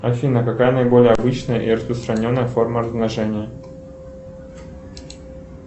афина какая наиболее обычная и распространенная форма размножения